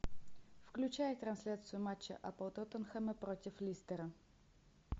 включай трансляцию матча апл тоттенхэма против листера